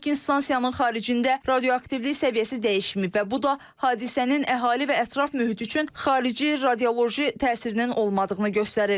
Lakin stansiyanın xaricində radioaktivlik səviyyəsi dəyişməyib və bu da hadisənin əhali və ətraf mühit üçün xarici radioloji təsirinin olmadığını göstərir.